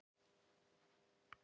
Kári Gylfason talaði við hann.